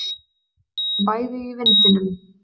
Þau heyrðu bæði í vindinum.